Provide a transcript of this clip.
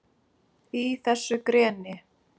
Í þessu greni?